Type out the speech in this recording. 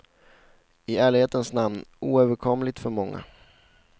I ärlighetens namn oöverkomligt för många.